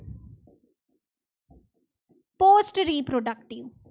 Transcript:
Most reproductive